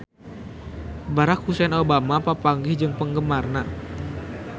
Barack Hussein Obama papanggih jeung penggemarna